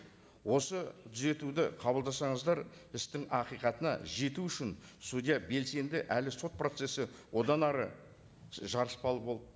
осы түзетуді қабылдасаңыздар істің ақиқатына жету үшін судья белсенді әрі сот процессі одан әрі жарыспалы болып